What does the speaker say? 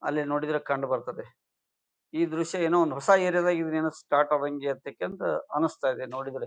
ಅಲ್ಲಿ ನೋಡಿದ್ರೆ ಕಂಡು ಬರುತ್ತದೆ ಈ ದೃಶ್ಯ ಏನೋ ಒಂದು ಹೊಸ ಏರಿಯಾ ದಾಗೆ ಏನೋ ಸ್ಟಾರ್ಟ್ ಆದಂಗೆ ಅಂತಕಂತ ಅನಿಸ್ತದೆ ನೋಡಿದ್ರೆ.